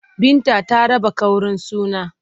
Binta ta raba ƙaurin suna.